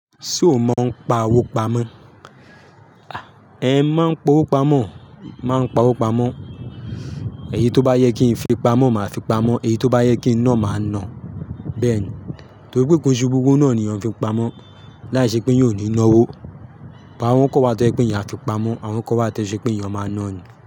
Ṣé o mọ ọ́n pa owó pamọ́? Mo máa ń pa owó pamọ́, máa ń pa owó pamọ́. Eyi to ba yẹ kin fi pamọ ma fi pamọ, èyí to ba yẹ kin na, máa na. Torí pé ko n ṣe gbogbo owo náà ni èèyàn fi n pamọ́, láìṣẹ́ pé èèyàn o ní náwó. Awọ́n kan wa to ẹ pé èèyàn a fi pamọ́, àwọn kan wa tẹ́ ẹ́ ṣe pé èèyàn máa nọ̀ ni.